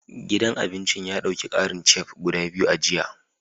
Gidan abincin ya dauki karin Chef guda biyu a jiya